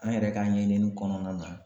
An yɛrɛ ka ɲɛɲini kɔnɔna na